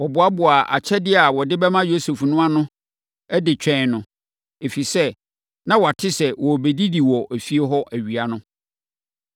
Wɔboaboaa akyɛdeɛ a wɔde bɛma Yosef no ano de twɛn no, ɛfiri sɛ, na wɔate sɛ wɔbɛdidi wɔ efie hɔ awia no.